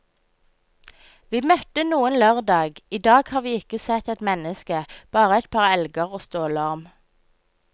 Vi møtte noen lørdag, i dag har vi ikke sett et menneske, bare et par elger og stålorm.